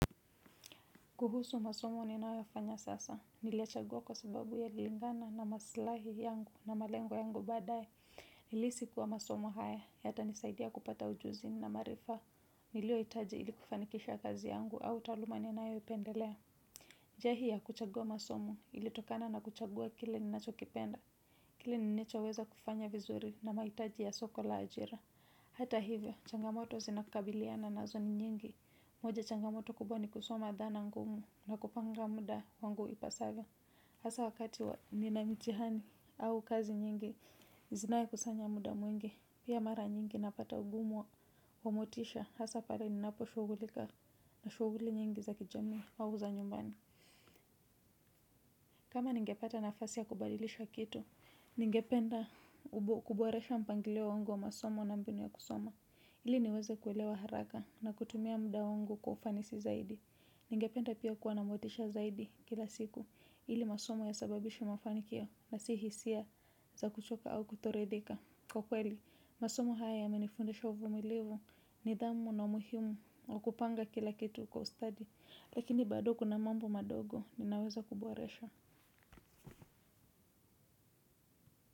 Kuhusu masomo ninayofanya sasa. Niliyachagua kwa sababu yaililingana na maslahi yangu na malengo yangu baadae. Nilihisi kuwa masomo haya. Yatanisaidia kupata ujuzi na maarifa. Niliyohitaji ili kufanikisha kazi yangu au taaluma ninayoipendelea. Njia hii ya kuchagua masomo ilitokana na kuchagua kile ninachokipenda. Kile ninachoweza kufanya vizuri na mahitaji ya soko la ajira. Hata hivyo, changamoto zinakabiliana nazo ni nyingi. Moja, changamoto kubwa ni kusoma dhana ngumu na kupanga muda wangu ipasavyo. Hasa wakati nina mitihani au kazi nyingi, zinayekusanya muda mwingi. Pia mara nyingi napata ugumu wa motisha hasa pala ninapo shughulika na shughuli nyingi za kijamii au za nyumbani. Kama ningepata nafasi ya kubadilisha kitu ningependa kuboresha mpangilio wangu wa masomo na mbinu ya kusoma ili niweze kuelewa haraka na kutumia muda wangu kwa ufanisi zaidi. Ningependa pia kuwa na motisha zaidi kila siku. Ili masumo yasababishe mafanikio na si hisia za kuchoka au kutoridhika. Kwa kweli, masomo haya yamenifundisha uvumilivu, nidhamu na umuhimu na kupanga kila kitu kwa ustadi. Lakini bado kuna mambo madogo ninaweza kuboresha.